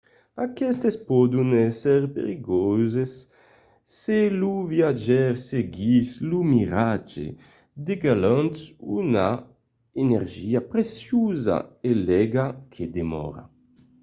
aquestes pòdon èsser perilhoses se lo viatjaire seguís lo miratge degalhant una energia preciosa e l'aiga que demòra